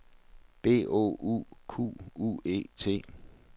B O U Q U E T